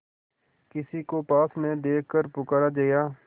किसी को पास न देखकर पुकारा जया